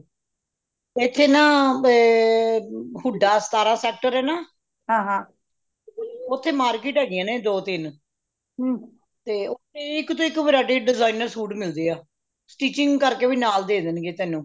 "ਇਥੇ ਨਾ ਏ ਹੁੱਡਾ ਸਤਾਰਾਂ sector ਏ ਨਾ ਓਥੇ market ਹੈਗੀਆਂ ਨੇ ਦੋ ਤਿਨ ਤੇ ਓਥੇ ਇੱਕ ਤੋਂ ਇੱਕ variety designer ਸੂਟ ਮਿਲਦੇ ਆ sticking ਕਰਕੇ ਵੀ ਨਾਲ ਦੇ ਦੇ ਦੇਣਗੇ]